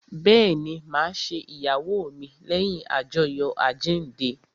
Bẹẹni, ma ṣe ìyàwó mi leyin ajoyo àjíǹde